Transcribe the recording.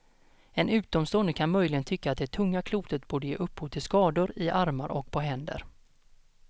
En utomstående kan möjligen tycka att det tunga klotet borde ge upphov till skador i armar och på händer.